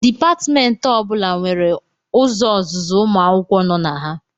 Dipatmentị ọ bụla nwere ụzọ ọzụzụ ụmụ akwụkwọ nọ na ha